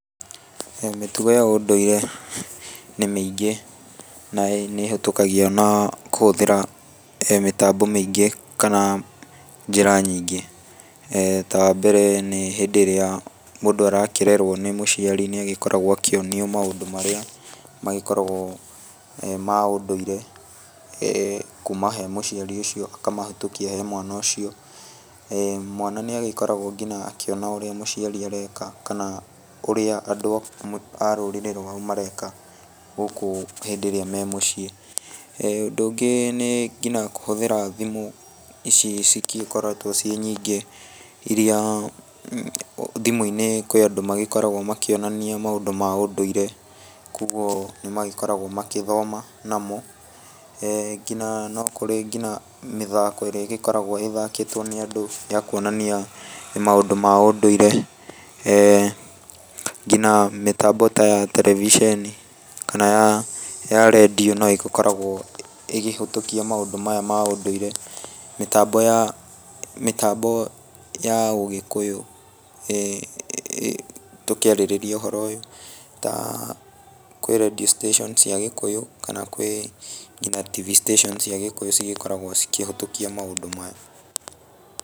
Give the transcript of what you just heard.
Mĩtugo ya ũndũire nĩ mĩingi na nĩ ĩhĩtũkagio na kũhũthĩra mĩtambo mĩingi kana njĩra nyiingĩ. ta wa mbere nĩ hĩndi ĩrĩa mũndũ arakĩrerwo nĩ mũciari no agĩkoragwo akĩonio maũndũ marĩa ma ũndũire ĩĩ kuuma he mũcĩari ũcio akamahetũkia he mwana ũcio. mwana nĩagĩkoraguo akĩona urĩa mũciari areeka kana ũrĩa andu a rũrĩrĩ rũao mareeka gũkũ hĩndĩ ĩrĩa me mũciĩ. Ũndu ũngĩ nĩ ginya kũhũthĩra thimũ, icii cigikoretwo ciĩ nyingi iria thimũ-inĩ kwi andũ magĩkoragwo makĩonania maũndũ ma ũndũire. Kũoguo nĩmagĩkoragwo magĩthoma namo. ginya no kũrĩ ginya mĩthaako ĩrĩa ĩgĩkoragũo ĩthakĩĩtwo nĩ andũ ya kũonania maũndũ ma ũndũire. ginya mĩtambo ta ya televiceeni kana yaa ya radio no ĩgĩkoragwo ĩkĩhĩtũkia maũndũ maya ma ũndũire. Mĩtambo yaa, mĩtambo ya ugĩkuyu tukĩarĩrĩria uhoro uyu ta, kwĩ radio station cia Gĩkũyũ kana kwĩ ginya TV station cia Gikũyũ cigĩkoragwo cikĩhĩtũkia maũndũ maya.